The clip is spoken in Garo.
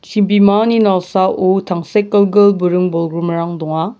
chibimani nalsao tangsekgilgil buring-bolgrimrang donga.